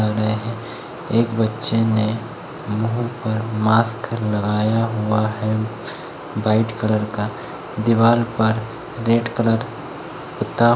एक बच्चे ने मुँह पर मास्क लगाया हुआ है। व्हाइट कलर का दीवाल पर रेड कलर पूता --